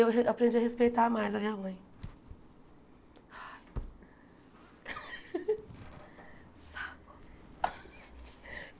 Eu re aprendi a respeitar mais a minha mãe. Saco